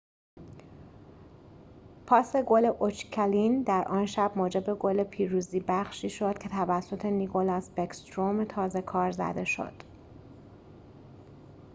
پاس گل اوچکین در آن شب موجب گل پیروزی بخشی شد که توسط نیکلاس بکستروم تازه‌کار زده شد